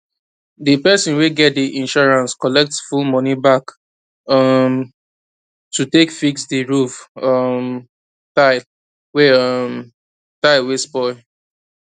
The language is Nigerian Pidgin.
di person wey get di insurance collect full money back um to take fix di roof um tile wey um tile wey spoil